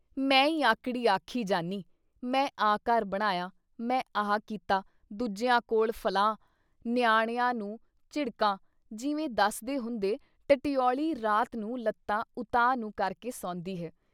ਮੈਂ ਈ ਆਕੜੀ ਆਖੀ ਜਾਨੀਂ - ਮੈਂ ਆਹ ਘਰ ਬਣਾਇਆ ਮੈਂ ਆਹ ਕੀਤਾ ਦੂਜਿਆਂ ਕੋਲ ਫੱਲਾਂ, ਨਿਆਣਿਆਂ ਨੂੰ ਝਿੜ੍ਹਕਾਂ ਜਿਵੇਂ ਦੱਸਦੇ ਹੁੰਦੇ-ਟਟਿਔਲੀ ਰਾਤ ਨੂੰ ਲੱਤਾਂ ਉਤਾਂਹ ਨੂੰ ਕਰਕੇ ਸੌਂਦੀ ਹੈ।